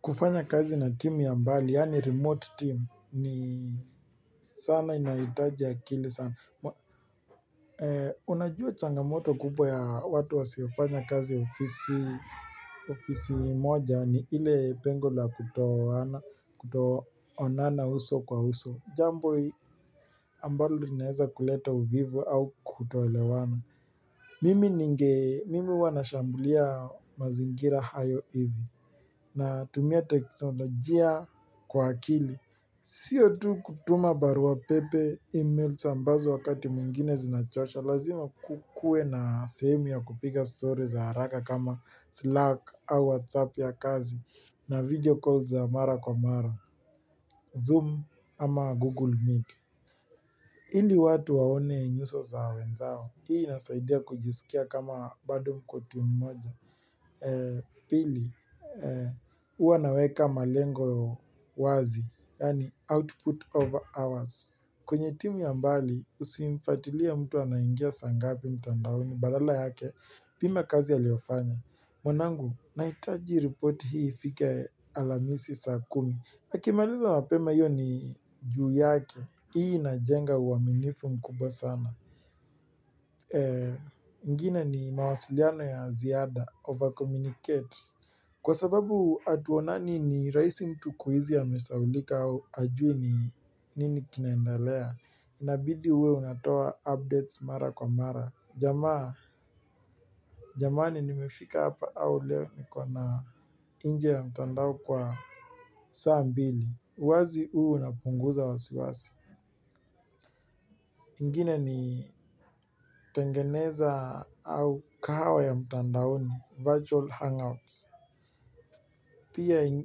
Kufanya kazi na team ya mbali, yaani remote team, ni sana inahitaji akili sana. Unajua changamoto kubwa ya watu wasiyofanya kazi ya ofisi moja ni ile pengo la kutooana, kutoonana uso kwa uso. Jambo ambalo linaeza kuleta uvivu au kutoelewana. Mimi ninge, mimi huwa nashambulia mazingira hayo hivi. Na tumia teknolojia kwa akili siyo tu kutuma barua pepe emails ambazo wakati mwigine zinachosha Lazima kukuwe na sehemu ya kupiga stories haraka kama Slack au WhatsApp ya kazi na video calls ya mara kwa mara, Zoom ama Google Meet ili watu waone nyuso za wenzao, hii inasaidia kujisikia kama bado mko timu mmoja Pili, uwa naweka malengo wazi Yaani output of hours kwenye timu ya mbali usimfuatilie mtu anaingia saa ngapi mtandaoni badala yake Pima kazi ya aliofanya mwanangu, nahitaji report hii ifikie alhamisi saa kumi Akimaliza mapema hiyo ni juu yake, hii inajenga uaminifu mkubwa sana ingine ni mawasiliano ya ziada, overcommunicate Kwa sababu hatuonani ni rahisi mtu kuhisi amesahaulika au aje ni nini kinaenda lea Inabidi uwe unatoa updates mara kwa mara Jamaani nimefika hapa au leo nikona inje ya mtandao kwa saa mbili wazi huu unapunguza wasiwasi ingine ni tengeneza au kahawa ya mtandaoni Virtual Hangouts Pia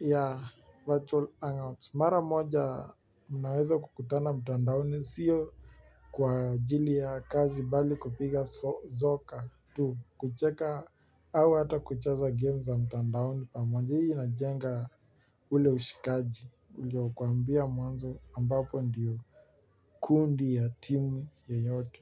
ya Virtual Hangouts Mara moja mnaweza kukutana mtandaoni sio Kwa ajili ya kazi bali kupiga zoka tu kucheka au hata kucheza game za mtandaoni hii inqhenga ule ushikaji ulio kuambia mwanzo ambapo ndio kundi ya timu yeyote.